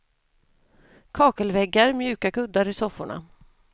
Kakelväggar, mjuka kuddar i sofforna.